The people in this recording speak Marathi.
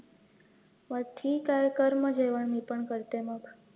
मग ठिके कर मग जेवण मी पण करते मग